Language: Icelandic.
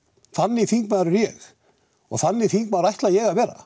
þannig þingmaður er ég og þannig þingmaður ætla ég að vera